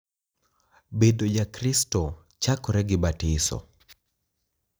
Bedo Jakristo chakore gi batiso.